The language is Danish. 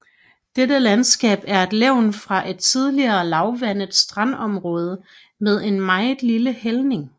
Dette landskab er et levn fra et tidligere lavvandet strandområde med en meget lille hældning